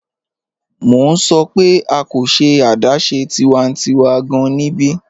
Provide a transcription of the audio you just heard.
Mọ̀ n sọ̀ pẹ̀ a kò ṣẹ̀ adáṣẹ̀ tiwàntíwà gáàn níbí.